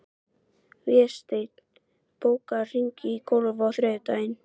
Vésteinn, bókaðu hring í golf á þriðjudaginn.